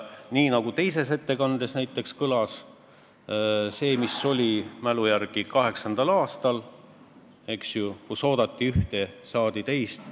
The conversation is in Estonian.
Nii nagu teises ettekandes kõlas, et 2008. aastal – mälu järgi ütlen – oli olukord, kus oodati ühte, aga saadi teist.